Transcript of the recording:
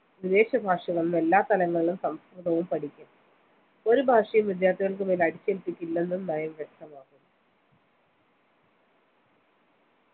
വിദേശഭാഷകളും എല്ലാ തലങ്ങളിലും സംസ്കൃതവും പഠിക്കാം. ഒരു ഭാഷയും വിദ്യാർത്ഥികൾക്ക് മേൽ അടിച്ചേൽപ്പിക്കില്ലെന്നും നയം വ്യക്തമാക്കുന്നു